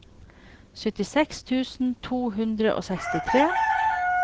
syttiseks tusen to hundre og sekstitre